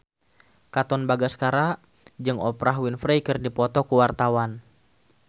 Katon Bagaskara jeung Oprah Winfrey keur dipoto ku wartawan